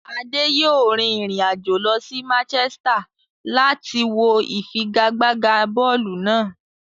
Ade yòó rin ìrìn àjò lọ sí Manchester láti wọ ìfigagbága bọ́ọ̀lù náà.